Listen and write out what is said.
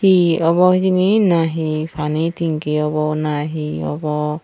he obo hijeni na he pani tanki obo na he obo.